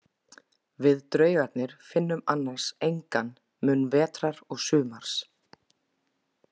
Við draugarnir finnum annars engan mun vetrar og sumars.